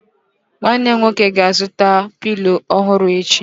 Nwanne nwoke m ga-azụta Pilo ọhụrụ echi